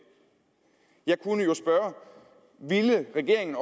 jeg kunne jo spørge har regeringen